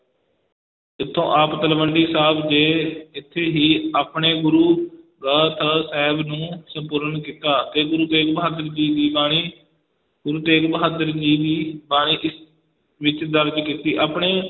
ਇਥੋਂ ਆਪ ਤਲਵੰਡੀ ਸਾਬ ਦੇ, ਇਥੇ ਹੀ ਆਪਣੇ ਗੁਰੂ ਗ੍ਰੰਥ ਸਾਹਿਬ ਨੂੰ ਸੰਪੂਰਨ ਕੀਤਾ ਤੇ ਗੁਰੂ ਤੇਗ ਬਹਾਦਰ ਜੀ ਦੀ ਬਾਣੀ, ਗੁਰੂ ਤੇਗ ਬਹਾਦਰ ਜੀ ਦੀ ਬਾਣੀ ਇਸ ਵਿਚ ਦਰਜ ਕੀਤੀ, ਆਪਣੇ